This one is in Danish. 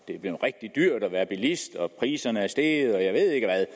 det er blevet rigtig dyrt at være bilist og at priserne er steget og jeg ved ikke hvad